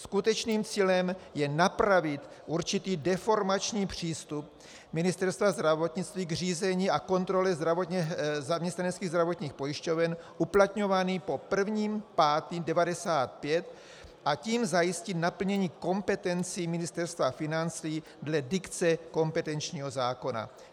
Skutečným cílem je napravit určitý deformační přístup Ministerstva zdravotnictví k řízení a kontrole zaměstnaneckých zdravotních pojišťoven uplatňovaný po 1. 5. 1995, a tím zajistit naplnění kompetencí Ministerstva financí dle dikce kompetenčního zákona.